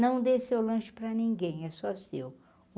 Não dê seu lanche para ninguém, é só seu.